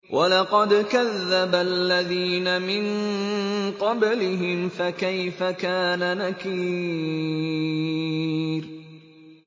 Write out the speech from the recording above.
وَلَقَدْ كَذَّبَ الَّذِينَ مِن قَبْلِهِمْ فَكَيْفَ كَانَ نَكِيرِ